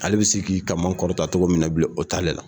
Ale bɛ si k'i kama kɔrɔta togo min na bilen o t'ale la.